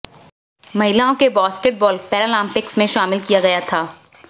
महिलाओं के basketball Paralympics में शामिल किया गया था